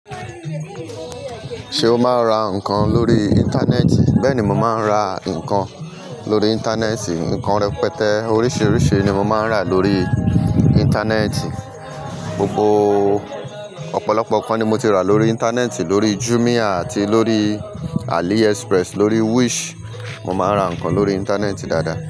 Ṣé o máa ń ra nǹkan lórí ìntanẹ́ẹ̀tì? Bẹ́ẹ̀ ni, mo máa ń ra nǹkan lórí ìntanẹ́ẹ̀tì. Nǹkan rẹpẹtẹ, oríṣiríṣi ni mo máa ń rà lórí ìntanẹ́ẹ̀tì. Ọ̀pọ̀lọpọ̀ nǹkan ni mo ti rà lórí ìntanẹ́ẹ̀tì, lórí Jumia àti lórí AliExpress, lórí Wish. Mo máa ń ra nǹkan lórí ìntanẹ́ẹ̀tì dáadáa.